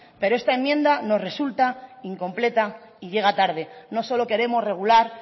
pero esta enmienda nos resulta incompleta y llega tarde no solo queremos regular